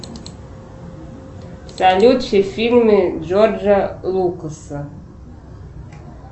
салют все фильмы джорджа лукаса